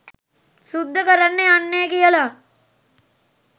සුද්ද කරන්න යන්නෙ කියලා.